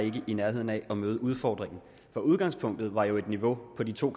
ikke i nærheden af at møde udfordringen for udgangspunktet var jo et niveau på de to